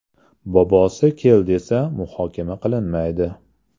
Bobosi ‘kel’ desa, muhokama qilinmaydi.